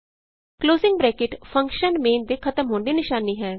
closing bracket function main ਦੇ ਖਤਮ ਹੋਣ ਦੀ ਨਿਸ਼ਾਨੀ ਹੈ